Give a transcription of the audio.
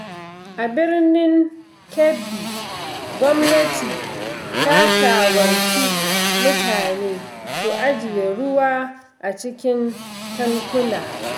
A Birnin Kebbi, gwamnati ta shawarci mutane su ajiye ruwa a cikin tankuna.